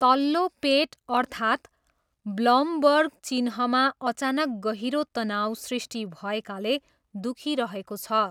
तल्लो पेट अर्थात् ब्लमबर्ग चिह्नमा अचानक गहिरो तनाउ सृष्टि भएकाले दुखिरहेको छ।